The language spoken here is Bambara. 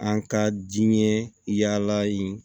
An ka diinɛ yaala ye